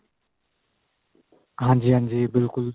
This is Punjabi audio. ਹਾਂਜੀ ਹਾਂਜੀ ਬਿਲਕੁਲ